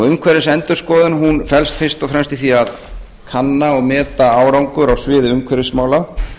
umhverfisendurskoðun felst fyrst og fremst í því að kanna og meta árangur á sviði umhverfismála